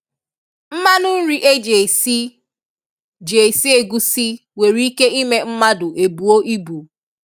mmanụ nri e ji esi ji esi egusi nwere ike ime mmadụ ebuo ịbu.